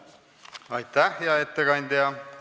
Aitäh, hea ettekandja!